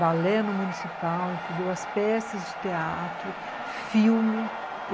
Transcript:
balé no municipal, entendeu? as peças de teatro, filme.